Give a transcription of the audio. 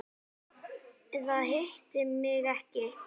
Eða hitti mig ekki.